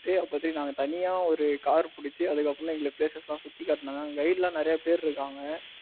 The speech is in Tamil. இருக்க போய் நாங்க தனியா ஒரு car புடிச்சு அதுக்கு அப்புறம் எங்களுக்கு places எல்லாம் சுத்தி காட்னாங்க அங்க guide எல்லாம் நிறைய பேர் இருக்காங்க.